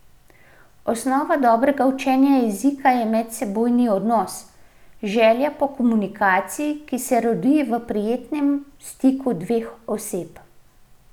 Osnova dobrega učenja jezika je medosebni odnos, želja po komunikaciji, ki se rodi v prijetnem stiku dveh oseb.